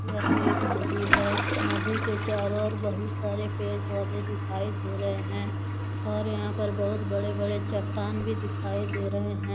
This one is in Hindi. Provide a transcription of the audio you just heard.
यह एक नदी है नदी के चारों ओर बहुत सारे पेड़- पौधे दिखाई दे रहे हैं और यहां पर बहुत बड़े- बड़े चट्टान भी दिखाई दे रहे हैं।